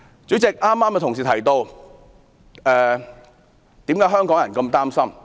主席，有同事剛才提到為何香港人如此擔心？